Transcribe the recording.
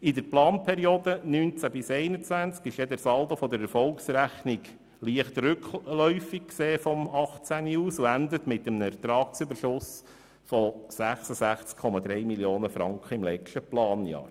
In der Planperiode von 2019 bis 2021 ist der Saldo der Erfolgsrechnung von heute aus gesehen leicht rückläufig und endet mit einem Ertragsüberschuss von 66,3 Mio. Franken im letzten Planjahr.